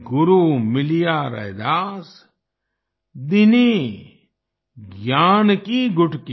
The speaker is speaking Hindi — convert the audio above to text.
गुरु मिलिया रैदास दीन्ही ज्ञान की गुटकी